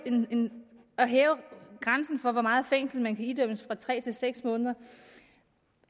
grænsen for hvor meget fængsel man kan idømmes fra tre til seks måneder